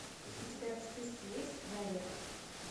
у тебя в списке есть дарья